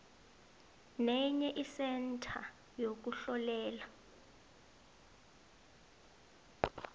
nenye isentha yokuhlolela